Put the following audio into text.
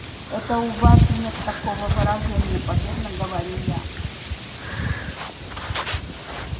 это у вас нет такого выражения победно говорю я